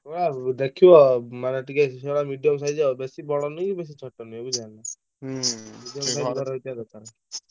ସେ ଗୁଡା ଦେଖିବ ମାନେ ଟିକେ ସେଗୁଡା medium size ବେଶୀ ବଡ ନୁହେଁ କି ବେଶୀ ଛୋଟ ନୁହେଁ ବୁଝିଲ ନା ଭଲ ରହିଥିବା ଦରକାର।